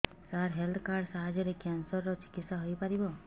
ସାର health card ସାହାଯ୍ୟରେ cancer ର ଚିକିତ୍ସା ହେଇପାରିବ